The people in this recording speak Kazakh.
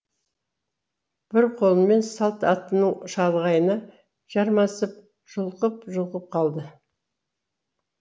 бір қолымен салт аттының шалғайына жармасып жұлқып жұлқып қалды